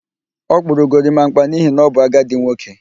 Ọ kpụrụ gorimakpa n'ihi na ọ bụ agadi nwoke